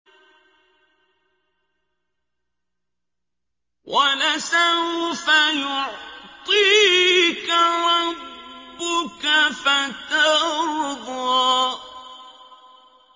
وَلَسَوْفَ يُعْطِيكَ رَبُّكَ فَتَرْضَىٰ